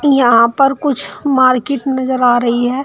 यहां पर कुछ मार्केट नजर आ रही है।